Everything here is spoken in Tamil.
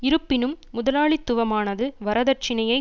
இருப்பினும் முதலாளித்துவமானது வரதட்சினையை